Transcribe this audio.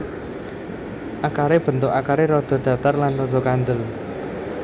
Akaré bentuk akaré rada datar lan rada kandhel